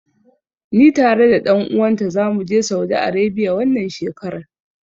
Ni tare da ɗan uwan ta zamu je Saudi Arebiya, wannan shekarar.